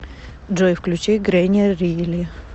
джой включи грэни рили